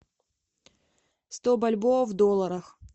сто бальбоа в долларах